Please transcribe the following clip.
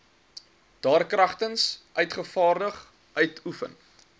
daarkragtens uitgevaardig uitoefen